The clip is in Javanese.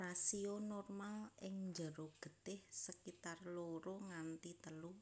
Rasio normal ing jero getih sekitar loro nganti telu